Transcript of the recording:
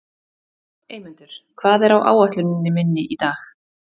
Eymundur, hvað er á áætluninni minni í dag?